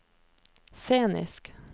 scenisk